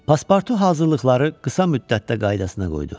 Paspartu hazırlıqları qısa müddətdə qaydasına qoydu.